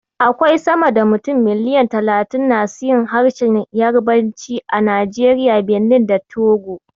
Akwai sama da mutum miliyan talatin nasu yin harshen Yarabanci a Najeriya, Benin, da Togo.